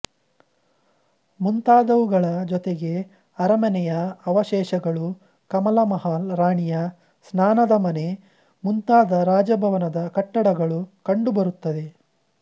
ಮುಂತಾದವುಗಳ ಜೊತೆಗೆ ಅರಮೆನೆಯ ಅವಶೇಷಗಳು ಕಮಲ ಮಹಲ್ ರಾಣಿಯ ಸ್ನಾನದ ಮನೆ ಮುಂತಾದ ರಾಜಭವನದ ಕಟ್ಟಡಗಳೂ ಕಂಡುಬರುತ್ತದೆ